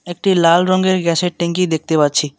একটি লাল রঙ্গের গ্যাসের ট্যাঙ্কি দেখতে পাচ্ছি।